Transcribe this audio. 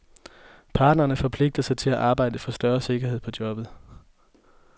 Parterne forpligter sig til at arbejde for større sikkerhed på jobbet.